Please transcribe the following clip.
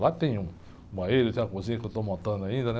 Lá tem um, uma rede, e tem uma cozinha que eu estou montando ainda, né?